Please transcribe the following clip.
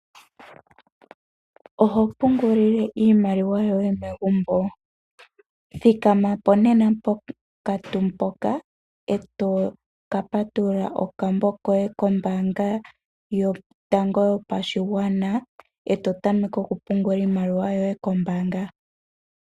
Oho pungulile iimaliwa yoye megumbo? Thikamapo nena ponkantu mpoka eto ka patulula okambo koye kombaanga yotango yopashigwana eto tameke oku pungula iimaliwa yoye kombaanga.